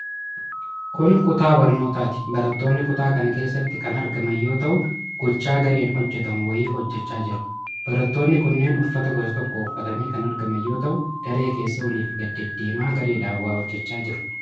Kun kutaa barnootaati. Barattooonni kutaa kana keessatti kan argaman yoo ta'u, gocha gareeen hojjatamu wayii hojjachaa jiru. Barattoonni kunneen uffata gosa tokko uffatanii kan argaman yoo ta'u, daree keessa olii gadi deddeemaa gareedhaan waa hojjachaa jiru.